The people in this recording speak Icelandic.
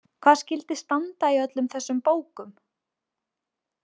Hvað skyldi standa í öllum þessum bókum?